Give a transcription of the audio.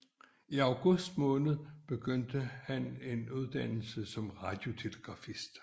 I august påbegyndte han en uddannelse som radiotelegrafist